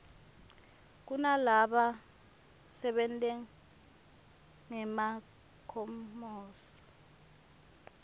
kunalaba sebentangema khemosra